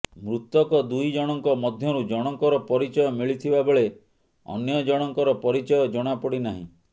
ମୃତକ ଦୁହିଁଜଣଙ୍କ ମଧ୍ୟରୁ ଜଣଙ୍କର ପରିଚୟ ମିଳିଥିବାବେଳେ ଅନ୍ୟଜଣଙ୍କର ପରିଚୟ ଜଣାପଡିନାହିଁ